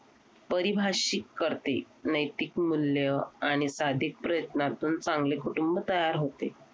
पारिभाषिक करते नैतिक मूल्य आणि सादिक प्रयत्नातून चांगले कुटुंब तयार होते.